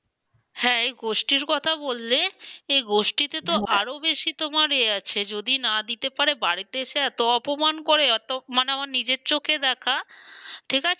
হ্যাঁ এই গোষ্ঠীর কথা বললে এই গোষ্ঠীতে তো আরো বেশি তোমার এ আছে যদি বা দিতে পারে বাড়িতে এসে এতো অপমান করে মানে আমার নিজের চোখে দেখা মানে